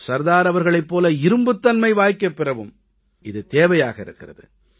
சர்தார் அவர்களைப் போல இரும்புத் தன்மை வாய்க்கப் பெறவும் இது தேவையாக இருக்கிறது